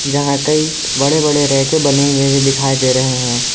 जहां कई बड़े बड़े रैके बने हुए दिखाई दे रहे हैं।